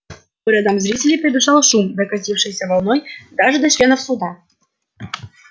по рядам зрителей пробежал шум докатившийся волной даже до членов суда